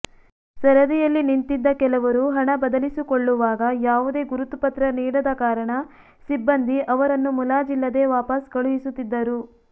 ಸರದಿಯಲ್ಲಿ ನಿಂತಿದ್ದ ಕೆಲವರು ಹಣ ಬದಲಿಸಿಕೊಳ್ಳುವಾಗ ಯಾವುದೇ ಗುರುತು ಪತ್ರ ನೀಡದ ಕಾರಣ ಸಿಬ್ಬಂದಿ ಅವರನ್ನು ಮುಲಾಜಿಲ್ಲದೇ ವಾಪಸ್ ಕಳುಹಿಸುತ್ತಿದ್ದರು